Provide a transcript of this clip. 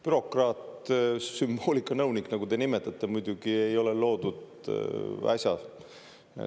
Bürokraat sümboolikanõunik, nagu te nimetate, muidugi ei ole loodud äsja.